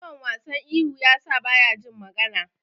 Yawan wasan ihu yasa baya jin magana.